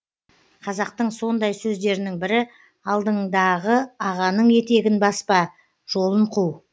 қазақтың сондай сөздерінің бірі алдыңдағы ағаның етегін баспа жолын қу